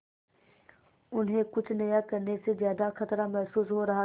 उन्हें कुछ नया करने में ज्यादा खतरा महसूस हो रहा था